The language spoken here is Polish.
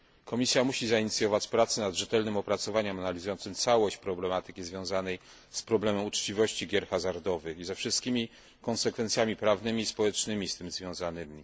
Komisja musi zainicjować pracę nad rzetelnym opracowaniem analizującym całość problematyki związanej z problemem uczciwości gier hazardowych i ze wszystkimi konsekwencjami prawnymi i społecznymi z tym związanymi.